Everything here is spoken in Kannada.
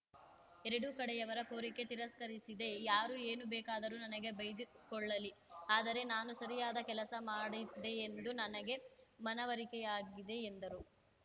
ಎರಡೂ ಕಡೆಯವರ ಕೋರಿಕೆ ತಿರಸ್ಕರಿಸಿದೆ ಯಾರು ಏನು ಬೇಕಾದರೂ ನನಗೆ ಬೈದುಕೊಳ್ಳಲಿ ಆದರೆ ನಾನು ಸರಿಯಾದ ಕೆಲಸ ಮಾಡಿದೆ ಎಂದು ನನಗೆ ಮನವರಿಕೆಯಾಗಿದೆ ಎಂದರು